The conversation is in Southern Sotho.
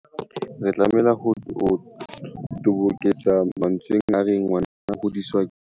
Re tlameha ho toboketsa mantsweng a reng ngwana o hodiswa ke setjhaba.